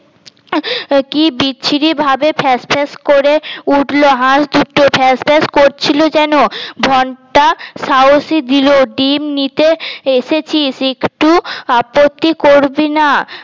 কি বিচ্ছিরি ভাবে ফ্যাস ফ্যাস করে উঠল হাস দুটো ফ্যাস ফ্যাস করছিল যেন ঘন্টা সাহসী দিল ডিম নিতে এসেছিস একটু আপত্তি করবি না